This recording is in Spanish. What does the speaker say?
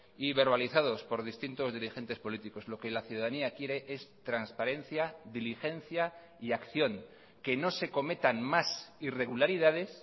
y verbalizados por distintos dirigentes políticos lo que la ciudadanía quiere es transparencia diligencia y acción que no se cometan más irregularidades